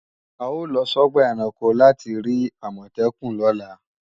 A ó lọ sọ́gbà ẹranko láti rí Àmọ̀tẹ́kùn lọ́la